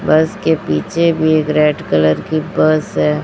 बस के पीछे भी एक रेड कलर की बस है।